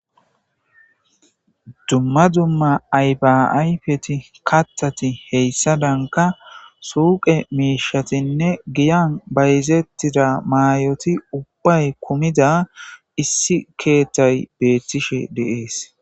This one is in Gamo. dumma dumma aybaayfeti kattati heyssadanka suuqe miishatinne giyan bayzettida maayoti ubbay kumida issi keetthay beettishe deees